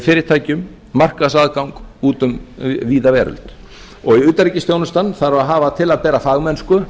fyrirtækjum markaðsaðgang út um víða veröld og utanríkisþjónustan þarf að hafa til að bera fagmennsku